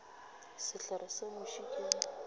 sehlare sa muši ke go